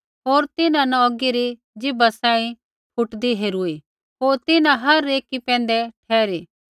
होर तिन्हां न औगी री ज़ीभा सांही फुटदी हेरूई होर तिन्हां हर एकी पैंधै ठहरी